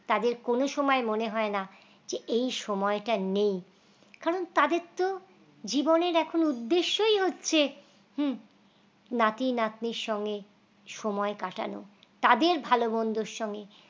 তাদের কোন সময় মনে হয় না যে এই সময়টা নেই কারণ তাদের তো জীবনের এখন উদ্দেশ্যই হচ্ছে হুঁ নাতি নাতনির সঙ্গে সময় কাটানো তাদের ভালো-মন্দের সঙ্গে